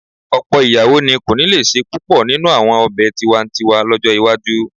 Ọ̀pọ̀ ìyàwó ni kò ní lè se púpọ̀ nínú àwọn ọ̀bẹ tiwa-n-tiwa lọ́jọ́ iwájú